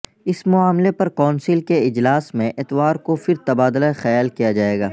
اس معاملے پر کونسل کے اجلاس میں اتوار کو پھر تبادلہ خیال کیا جائے گا